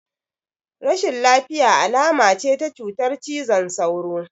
Rashin lafiya alama ce ta cutar cizon sauro